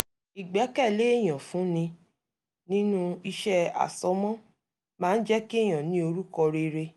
ìgbẹ́kẹ̀lé èyàn fún ni nínú iṣẹ́ àsomọ́ máa ń jẹ́ kéèyàn ní orúkọ rere